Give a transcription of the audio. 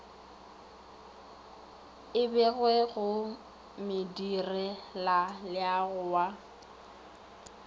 e begwe go modirelaleago wa